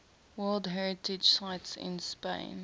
world heritage sites in spain